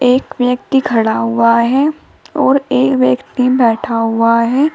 एक व्यक्ति खड़ा हुआ है और एक व्यक्ति बैठा हुआ है।